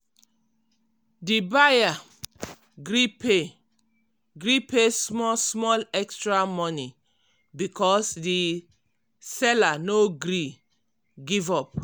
di buyer gree pay gree pay small small extra money because di seller no gree give up.